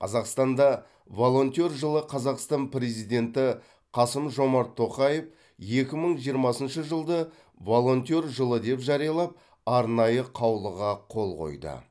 қазақстанда волонтер жылы қазақстан президенті қасым жомарт тоқаев екі мың жиырмасыншы жылды волонтер жылы деп жариялап арнайы қаулыға қол қойды